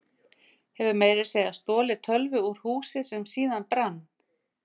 Hefur meira að segja stolið tölvu úr húsi sem síðan brann.